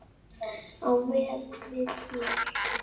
á vel við hér.